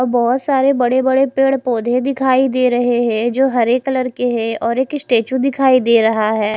और बहोत सारे बड़े बड़े पेड़ पोधे दिखाई दे रहे है जो हरे कलर के है और एक स्टेचू दिखाई दे रहा है।